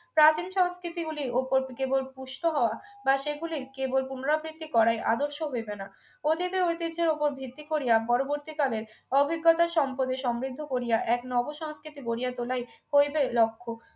চাকরি সংস্কৃতগুলির ওপর কেবল পুষ্ট হওয়া বা সেগুলি কেবল পুনরাবৃত্তি করাযই আদর্শ হইবে না ওদের যে ঐতিহ্যের উপর ভিত্তি করিয়া পরবর্তীকালের অভিজ্ঞতা সম্পদে সমৃদ্ধ করিয়া এক নবসংস্কৃতি গড়িয়া তোলাই হইবে লক্ষ্য